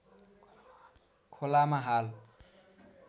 खोलामा हाल